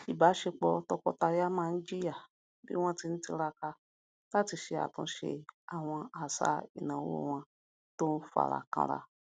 ìbáṣepọ tọkọtaya náà jìyà bí wọn ti ń tiraka láti ṣe àtúnṣe àwọn àṣà ináwó wọn tó n fara kanra